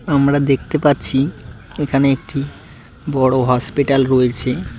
আমরা দেখতে পাচ্ছি এখানে একটি বড় হসপিটাল রয়েছে।